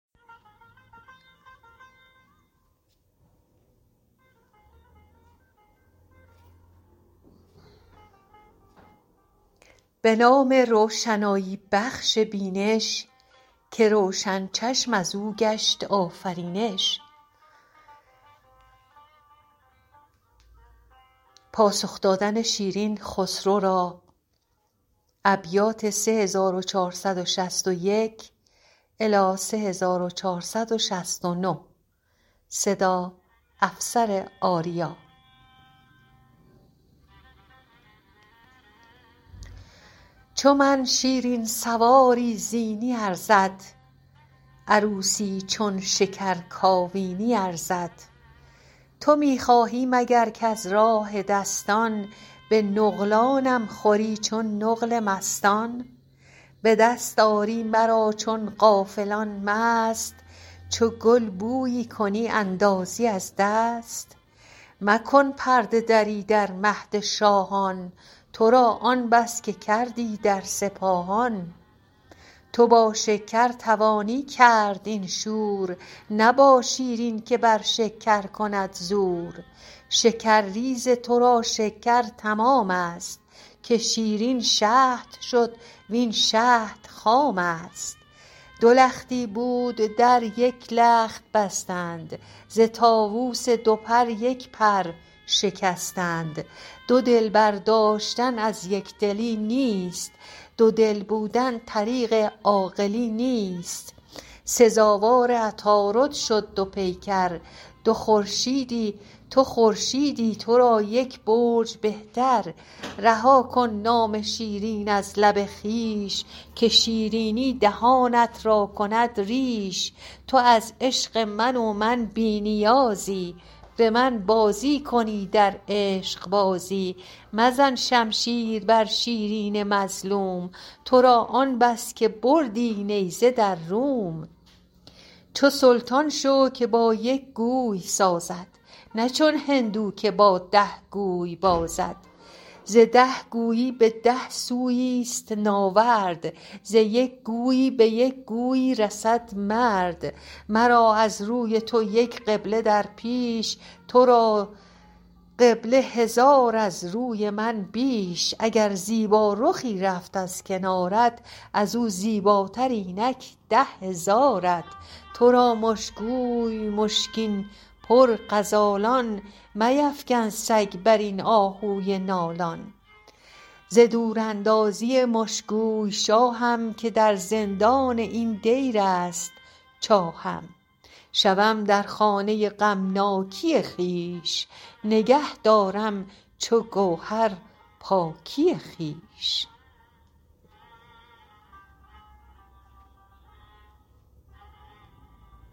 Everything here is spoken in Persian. جوابش داد سرو لاله رخسار که دایم باد دولت بر جهان دار فلک بند کمر شمشیر بادت تن پیل و شکوه شیر بادت سری کز طوق تو جوید جدایی مباد از بند بیدادش رهایی به چشم نیک بینادت نکوخواه مبادا چشم بد را سوی تو راه مزن طعنه که بر بالا زدی تخت کنیزان تو را بالا بود رخت علم گشتم به تو در مهربانی علم بالای سر بهتر تو دانی من آن گردم که از راه تو آید اگر گرد تو بالا رفت شاید تو هستی از سر صاحب کلاهی نشسته بر سریر پادشاهی من از عشقت برآورده فغانی به بامی بر چو هندو پاسبانی جهان داران که ترکان عام دارند به خدمت هندویی بر بام دارند من آن ترک سیه چشمم بر این بام که هندوی سپیدت شد مرا نام و گر بالای مه باشد نشستم شهنشه را کمینه زیردستم دگر گفتی که آنان که ارجمندند چنین بر روی مهمان در نبندند نه مهمانی تویی باز شکاری طمع داری به کبک کوه ساری و گر مهمانی اینک دادمت جای من اینک چون کنیزان پیش بر پای به صاحب ردی و صاحب قبولی نشاید کرد مهمان را فضولی حدیث آن که در بستم روا بود که سرمست آمدن پیشم خطا بود چو من خلوت نشین باشم تو مخمور ز تهمت رای مردم کی بود دور تو را بایست پیری چند هشیار گزین کردن فرستادن بدین کار مرا بردن به مهد خسروآیین شبستان را به من کردن نوآیین چو من شیرین سواری زینی ارزد عروسی چون شکر کاوینی ارزد تو می خواهی مگر کز راه دستان به نقلانم خوری چون نقل مستان به دست آری مرا چون غافلان مست چو گل بویی کنی اندازی از دست مکن پرده دری در مهد شاهان تو را آن بس که کردی در سپاهان تو با شکر توانی کرد این شور نه با شیرین که بر شکر کند زور شکرریز تو را شکر تمام است که شیرین شهد شد وین شهد خام است دو لختی بود در یک لخت بستند ز طاووس دو پر یک پر شکستند دو دلبر داشتن از یک دلی نیست دو دل بودن طریق عاقلی نیست سزاوار عطارد شد دو پیکر تو خورشیدی تو را یک برج به تر رها کن نام شیرین از لب خویش که شیرینی دهانت را کند ریش تو از عشق من و من بی نیازی به من بازی کنی در عشق بازی مزن شمشیر بر شیرین مظلوم تو را آن بس که بردی نیزه در روم چو سلطان شو که با یک گوی سازد نه چون هندو که با ده گوی بازد ز ده گویی به ده سویی است ناورد ز یک گویی به یک گویی رسد مرد مرا از روی تو یک قبله در پیش تو را قبله هزار از روی من بیش اگر زیبارخی رفت از کنارت از او زیبا تر اینک ده هزارت تو را مشکوی مشکین پر غزالان میفکن سگ بر این آهوی نالان ز دوراندازی مشکوی شاهم که در زندان این دیر است چاهم شوم در خانه غمناکی خویش نگه دارم چو گوهر پاکی خویش گل سرشوی از این معنی که پاک است به سر برمی کنندش گر چه خاک است بیاساید همه شب مرغ و ماهی نیاسایم من از جانم چه خواهی منم چون مرغ در دامی گرفته دری دربسته و بامی گرفته چو طوطی ساخته با آهنین بند به تنهایی چو عنقا گشته خرسند تو در خرگاه و من در خانه تنگ تو را روزی بهشت آمد مرا سنگ چو من با زخم خو کردم در این خار نه مرهم باد در عالم نه گل زار دو روز عمر اگر داد است اگر دود چنان کش بگذرانی بگذرد زود بلی چون رفت باید زین گذرگاه ز خارا به بریدن تا ز خرگاه بر این تن کو حمایل بر فلک بست به سرهنگی حمایل چون کنی دست به گوری چون بری شیر از کنارم که شیرینم نه آخر شیرخوارم نه آن طفلم که از شیرین زبانی به خرمایی کلیجم را ستانی در این خرمن که تو بر تو عتاب است به یک جو با منت سالی حساب است چو زهره ارغنونی را که سازم بیازارم نخست آن گه نوازم چو آتش گر چه آخر نور پاکم به اول نوبت آخر دودناکم نخست آتش دهد چرخ آن گهی آب به حال تشنگان دربین و دریاب به فیاضی که بخشد با رطب خار که بی خارم نیابد کس رطب وار رطب بی استخوان آبی ندارد چو مه بی شب بود تابی ندارد بسی هم صحبتت باشد در این پوست ولیکن استخوان من مغزم ای دوست تو در عشق من از مالی و جاهی چه دیدی جز خداوندی و شاهی کدامین ساعت از من یاد کردی کدامین روزم از خود شاد کردی کدامین جامه بر یادم دریدی کدامین خواری از بهرم کشیدی کدامین پیک را دادی پیامی کدامین شب فرستادی سلامی تو ساغر می زدی با دوستان شاد قلم شاپور می زد تیشه فرهاد